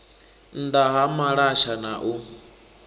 nnda ha malasha na u